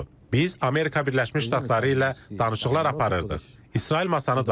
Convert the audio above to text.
Biz Amerika Birləşmiş Ştatları ilə danışıqlar aparırdıq, İsrail masanı dağıtdı.